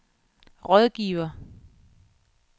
rådgiver